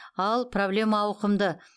ал проблема ауқымды